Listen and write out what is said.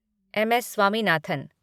M. S. Swaminathan